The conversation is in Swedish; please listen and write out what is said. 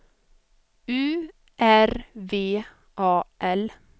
U R V A L